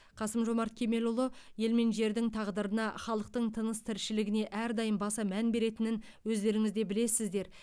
қасым жомарт кемелұлы ел мен жердің тағдырына халықтың тыныс тіршілігіне әрдайым баса мән беретінін өздеріңіз де білесіздер